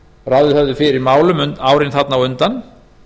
ráðið höfðu fyrir málum árin þarna á undan